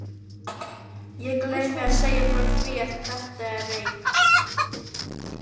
Ég gleymi að segja frá því að þetta er reyk